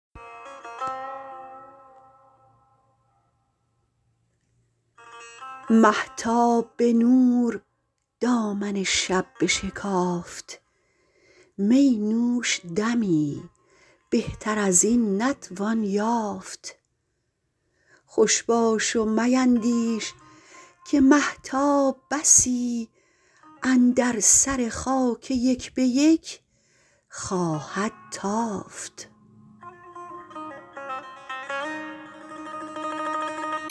مهتاب به نور دامن شب بشکافت می نوش دمی بهتر از این نتوان یافت خوش باش و میندیش که مهتاب بسی اندر سر خاک یک به یک خواهد تافت